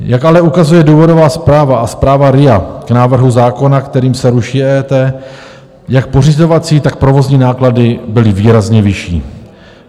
Jak ale ukazuje důvodová zpráva a zpráva RIA k návrhu zákona, kterým se ruší EET, jak pořizovací, tak provozní náklady byly výrazně vyšší.